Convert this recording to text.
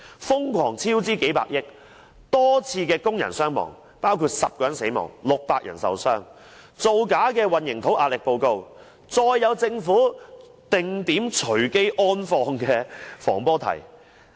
瘋狂超支幾百億、多宗工人傷亡事故，包括10人死亡、600人受傷、造假的混凝土壓力測試報告、政府"定點隨機安放"的防坡堤。